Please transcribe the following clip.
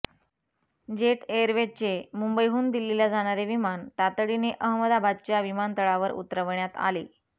jet एअरवेजचे मुंबईहून दिल्लीला जाणारे विमान तातडीने अहमदाबादच्या विमानतळावर उतरवण्यात आले